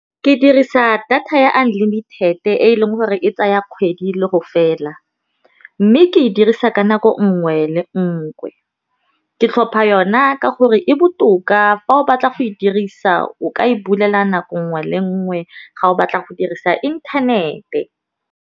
Ke dirisa data ya unlimited-e e leng gore e tsaya kgwedi le go fela, mme ke e dirisa ka nako nngwe le nngwe. Ke tlhopha yona ka gore e botoka fa o batla go e dirisa o ka e bulela nako nngwe le nngwe ga o batla go dirisa inthanete.